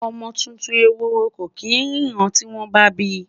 ọmọ tuntun ehoro kò kin rinna tiwon ba bi